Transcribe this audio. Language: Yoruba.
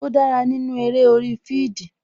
Ó dára nínú eré orí fidii